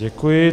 Děkuji.